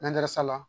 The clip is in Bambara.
sala